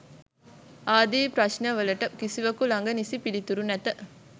ආදී ප්‍රශ්න වලට කිසිවකු ළඟ නිසි පිළිතුරු නැත.